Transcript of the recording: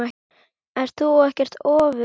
Ert þú ekkert ofvirk?